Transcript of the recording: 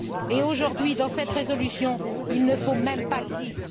Et aujourd'hui, dans cette résolution, il ne faut même pas le dire!